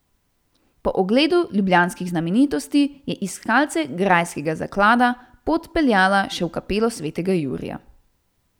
Po ogledu ljubljanskih znamenitosti je iskalce grajskega zaklada pot peljala še v kapelo svetega Jurija.